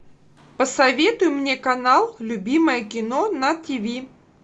посоветуй мне канал любимое кино на тв